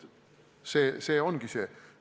See ongi see.